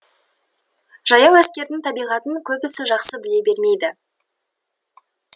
жаяу әскердің табиғатын көбісі жақсы біле бермейді